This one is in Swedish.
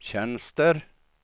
tjänster